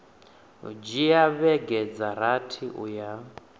dzhia vhege dza rathi uya